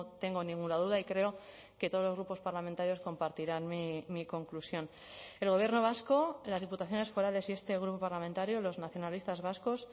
tengo ninguna duda y creo que todos los grupos parlamentarios compartirán mi conclusión el gobierno vasco las diputaciones forales y este grupo parlamentario los nacionalistas vascos